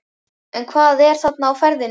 En hvað er þarna á ferðinni?